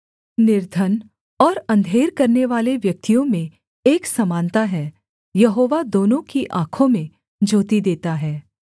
निर्धन और अंधेर करनेवाले व्यक्तियों में एक समानता है यहोवा दोनों की आँखों में ज्योति देता है